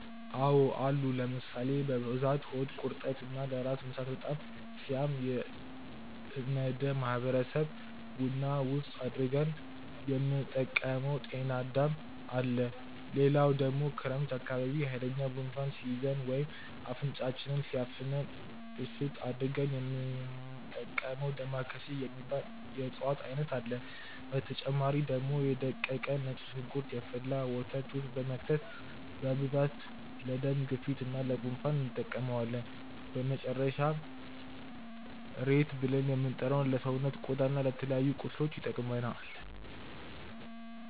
አዎ አሉ ለምሳሌ፦ በብዛት ሆድ ቁርጠት እና ለራስ ምታት በጣም ሲያም እነደ ማህበረሰብ ቡና ውስጥ አድርገን የምንጠቀመው ጤናዳም አለ፣ ሌላው ደግሞ ክረምት አካባቢ ሃይለኛ ጉንፋን ሲይዘን ወይም አፍንጫችንን ሲያፍነን እሽት አድርገን የሚንጠቀመው ዳማከሴ የሚባል የእፅዋት አይነት አለ፣ በተጨማሪ ደግሞ የ ደቀቀ ነጭ ሽንኩርት የፈላ ወተት ውስጥ በመክተት በብዛት ለደም ግፊት እና ለ ጉንፋን እንጠቀመዋለን፣ በመጨረሻም ሬት ብልን የምንጠራው ለሰውነት ቆዳ እና ለተለያዩ ቁስሎች እንጠቀማለን።